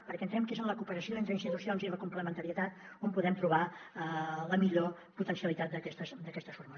perquè entenem que és en la cooperació entre institucions i en la complementarietat on podem trobar la millor potencialitat d’aquestes fórmules